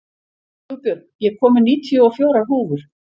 Hugbjörg, ég kom með níutíu og fjórar húfur!